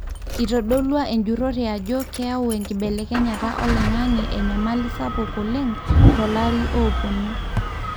itodolua enjurore ajo keeyau enkibelekenyata oloingange enyamali sapuk oleng tolarin opoonu.